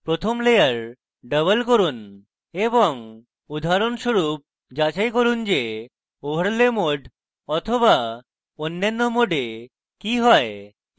প্রথম layer double করুন এবং উদাহরণস্বরূপ যাচাই করুন যে overlay mode বা অন্যান্য mode কি হয়